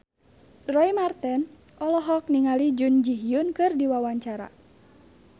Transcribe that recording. Roy Marten olohok ningali Jun Ji Hyun keur diwawancara